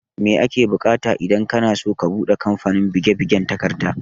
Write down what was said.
Mai ake bukata idan kanaso ka buɗe kamfanin buge bugen takarda?